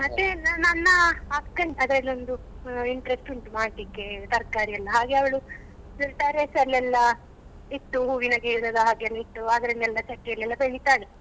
ಮತ್ತೆ ನ~ ನನ್ನ ಅಕ್ಕನ್ ಅದ್ರಲ್ಲಿ ಒಂದು interest ಉಂಟು ಮಾಡ್ಲಿಕ್ಕೆ ತರ್ಕಾರಿ ಎಲ್ಲ ಹಾಗೆ ಅವ್ಳು terrace ಅಲ್ಲಿ ಎಲ್ಲಾ ಇಟ್ಟು ಹೂವಿನ ಗಿಡದಾ ಹಾಗೆಲ್ಲ ಇಟ್ಟು ಅದನ್ನೆಲ್ಲಾ ಚಟ್ಟಿ ಅಲ್ಲಿ ಎಲ್ಲ ಬೆಳಿತಾಳೆ.